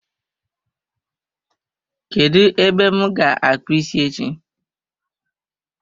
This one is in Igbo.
Kedụ ebe m ga-akpu isi echi?